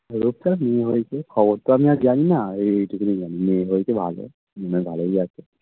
রূপসার মেয়ে হয়েছে খবর তো আমি আর জানিনা ঐ ঐটুকুনি জানি মেয়ে হয়েছে ভালো মেয়ে ভালোই আছে